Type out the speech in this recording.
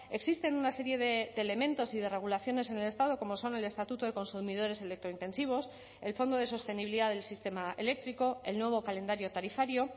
existen una serie de elementos y de regulaciones en el estado como son el estatuto de consumidores electro intensivos el fondo de sostenibilidad del sistema eléctrico el nuevo calendario tarifario